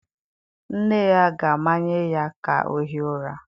Nne ya ga-amanye ya ka ọ hie ụra.